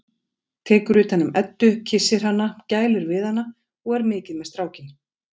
Tekur utan um Eddu og kyssir hana, gælir við hana og er mikið með strákinn.